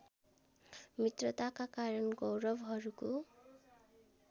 मित्रताका कारण कौरवहरूको